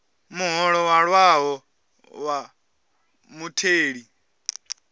muholo wa ṅwaha wa mutheli